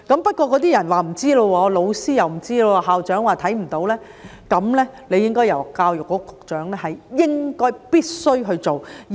不過，那些人說不知道，老師又說不知道，校長說看不到，而教育局局長是應該、必須去處理的。